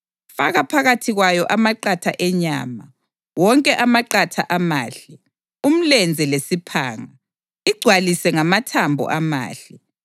Faka phakathi kwayo amaqatha enyama, wonke amaqatha amahle, umlenze lesiphanga. Igcwalise ngamathambo amahle;